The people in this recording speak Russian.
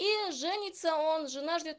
и женится он жена ждёт